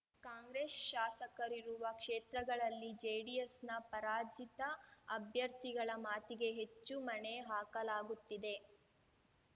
ಕಾಂಗ್ರೆಸ್‌ ಶಾಸಕರಿರುವ ಕ್ಷೇತ್ರಗಳಲ್ಲಿ ಜೆಡಿಎಸ್‌ನ ಪರಾಜಿತ ಅಭ್ಯರ್ಥಿಗಳ ಮಾತಿಗೆ ಹೆಚ್ಚು ಮಣೆ ಹಾಕಲಾಗುತ್ತಿದೆ